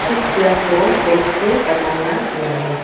इस चेयर को बेट से बनाया हुआ है।